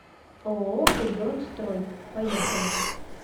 ооо регион строй поехали